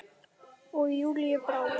Og Júlíu brá.